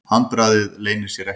Handbragðið leynir sér ekki.